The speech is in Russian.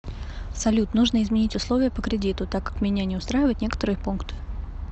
салют нужно изменить условия по кредиту так как меня не устраивают некоторые пункты